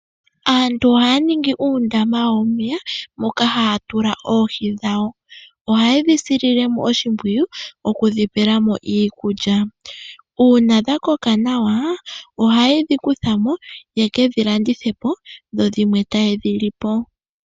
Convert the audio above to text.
Aantu ohaya ningi uundama wawo womeya, moka haya tula oohi dhawo. Ohaye dhi sile mo oshimpwiyu oku dhi pela mo iikulya. Uuna dha koka nawa ohaye dhi kutha mo ya kedhi landithe po, dho dhimwe taye dhi li po.